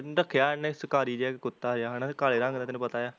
ਉਹ ਰੱਖਿਆ ਏਹਣੇ ਸ਼ਕਾਰੀ ਜਿਹਾ ਇੱਕ ਕੁੱਤਾ ਜਿਹਾ ਹੈਨਾ ਕਾਲੇ ਰੰਗ ਦਾ, ਤੇਨੂੰ ਪਤਾ ਆ